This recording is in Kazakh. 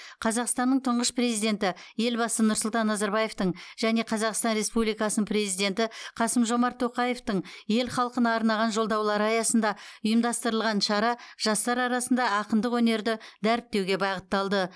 қазақстанның тұңғыш президенті елбасы нұрсұлтан назарбаевтың және қазақстан республикасының президенті қасым жомарт тоқаевтың ел халқына арнаған жолдаулары аясында ұйымдастырылған шара жастар арасында ақындық өнерді дәріптеуге бағытталды